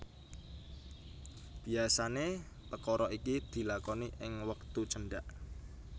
Biasané pekara iki dilakoni ing wektu cendhak